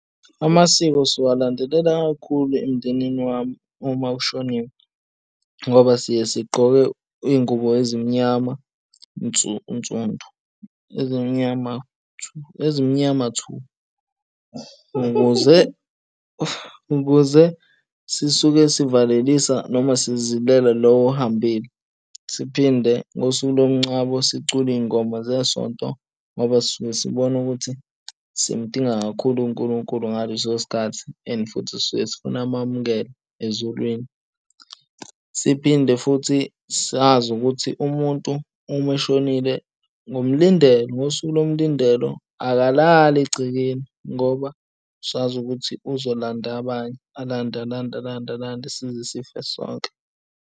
Amasiko siwalandelela kakhulu emndenini wami uma kushoniwe, ngoba siye sigqoke izingubo ezimnyama nsundu ezimyama thu. Ukuze sisuke sivalelise noma sizilele lo ohambile, siphinde ngosuku lomngcwabo sicule izingoma zesonto ngoba sisuke sibona ukuthi simdinga kakhulu uNkulunkulu ngaleso sikhathi and futhi sisuke sifuna amamkele ezulwini. Siphinde futhi sazi ukuthi umuntu uma eshonile ngomlindelo, ngosuku lomlindelo akalali egcekeni ngoba sazi ukuthi uzolanda abanye, alande, alande, alande, alande size sife sonke.